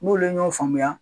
N k'olu ye ɲɔgɔn faamuya.